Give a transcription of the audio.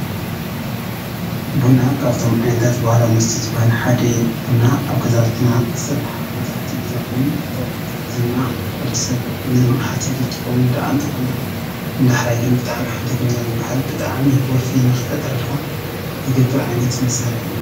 ቡና ካብቶ ዓይነታት ባህላዊ መስተ ዝበሃሉ ሓደ እዩ፡፡ ቡና አብ ገዛውትና ስራሕ መብዛሕትኡ ግዜ ኮይኑ፤ እዚማ ወዲሰብ ንንቅሓት ዝጥቀመሉ ዳአ እንተኮነ ንዳሕራይ ግን ብጣዕሚ ሓደገኛ ዝበሃል ብጣዕሚ ወልፊ ንክፈጥረልካ ዝገብር ዓይነት መሳርሒ እዩ፡፡